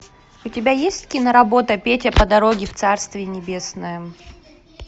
у тебя есть киноработа петя по дороге в царствие небесное